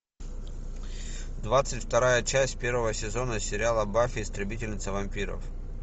двадцать вторая часть первого сезона сериала баффи истребительница вампиров